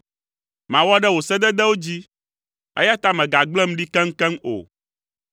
Mawɔ ɖe wò sededewo dzi, eya ta mègagblẽm ɖi keŋkeŋ o.